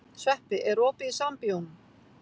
Sveppi, er opið í Sambíóunum?